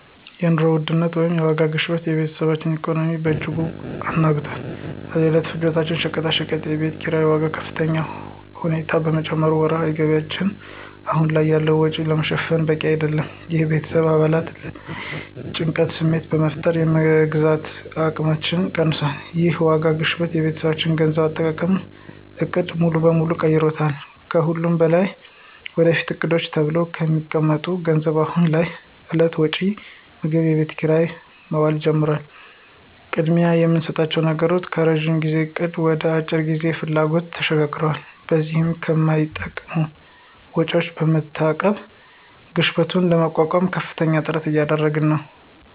የኑሮ ውድነት (የዋጋ ግሽበት) የቤተሰባችንን ኢኮኖሚ በእጅጉ አናግቷል። የዕለት ፍጆታ ሸቀጦችና የቤት ኪራይ ዋጋ በከፍተኛ ሁኔታ በመጨመሩ ወርሃዊ ገቢያችን አሁን ያለውን ወጪ ለመሸፈን በቂ አይደለም። ይህ በቤተሰብ አባላት ላይ የጭንቀት ስሜት በመፍጠር የመግዛት አቅማችንን ቀንሶታል። ይህ የዋጋ ግሽበት የቤተሰባችንን የገንዘብ አጠቃቀም ዕቅድ ሙሉ በሙሉ ቀይሮታል። ከሁሉም በላይ ለወደፊት ዕቅዶች ተብሎ የተቀመጠው ገንዘብ አሁን ላለው የዕለት ወጪ (ምግብና የቤት ኪራይ) መዋል ጀምሯል። ቅድሚያ የምንሰጠው ነገር ከረዥም ጊዜ እቅድ ወደ የአጭር ጊዜ ፍላጎቶች ተሸጋግሯል። በዚህም ከማይጠቅሙ ወጪዎች በመታቀብ ግሽበቱን ለመቋቋም ከፍተኛ ጥረት እያደረግን ነው።